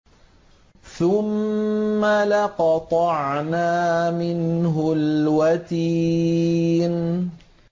ثُمَّ لَقَطَعْنَا مِنْهُ الْوَتِينَ